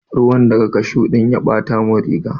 Ruwa daga cashew din ya Bata min riga.